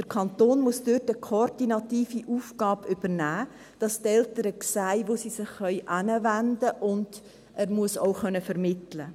Der Kanton muss dort eine koordinative Aufgabe übernehmen, damit die Eltern sehen, wohin sie sich wenden können, und er muss auch vermitteln können.